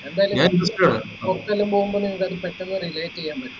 എന്തായാലും പൊറത്തെല്ലാം പോകുമ്പോ നിങ്ങൾക്ക് എന്തായാലും അത് relate ചെയ്യാൻ പറ്റും